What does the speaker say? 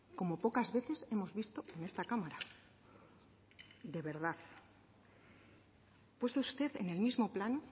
como pocas veces hemos visto en esta cámara de verdad ha puesto usted en el mismo plan